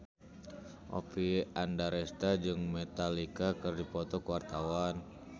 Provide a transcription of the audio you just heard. Oppie Andaresta jeung Metallica keur dipoto ku wartawan